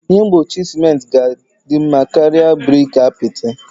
Ihe mgbochi ciment ga-adị mma karịa brik apịtị